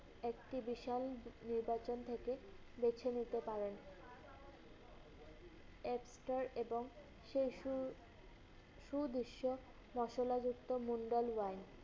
একটি বিশাল নির্বাচন থেকে বেছে নিতে পারেন। একটার এবং সেই সুর~ সুদৃশ্য মশলাযুক্ত মুন্ডাল wine ।